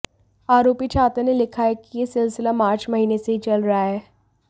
आरोपी छात्र ने लिखा है कि यह सिलसिला मार्च महीने से ही चल रहा है